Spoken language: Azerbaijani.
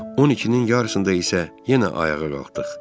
12-nin yarısında isə yenə ayağa qalxdıq.